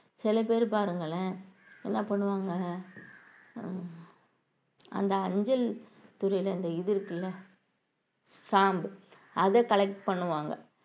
சில பேர் பாருங்களேன் என்ன பண்ணுவாங்க ஹம் அந்த அஞ்சல் துறையில அந்த இது இருக்குல்ல ஸ்டாம்ப் அதை collect பண்ணுவாங்க